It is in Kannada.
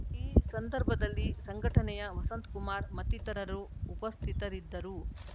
ಈ ಸಂದರ್ಭದಲ್ಲಿ ಸಂಘಟನೆಯ ವಸಂತಕುಮಾರ್‌ ಮತ್ತಿತರರು ಉಪಸ್ಥಿತರಿದ್ದರು